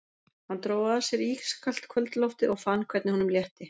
Hann dró að sér ískalt kvöldloftið og fann hvernig honum létti.